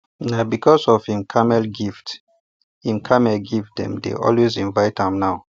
na because of him camel gift him camel gift dem dey always invite am now